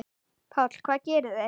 Páll: Hvað gerið þið?